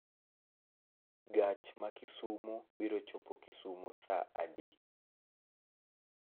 Gach ma kisumu biro chopo kisumu saa adi